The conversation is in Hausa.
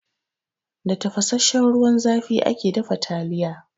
Da tafasassan ruwan zafi ake dafa taliya.